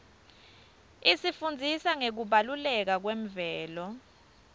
isifundzisa ngekubaluleka kwemvelo